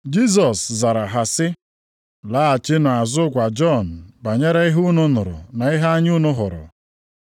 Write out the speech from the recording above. Jisọs zara ha sị, “Laghachinụ azụ gwa Jọn banyere ihe unu nụrụ na ihe anya unu hụrụ.